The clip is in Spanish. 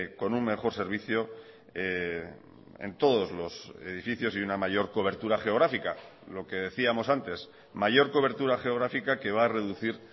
con un mejor servicio en todos los edificios y una mayor cobertura geográfica lo que decíamos antes mayor cobertura geográfica que va a reducir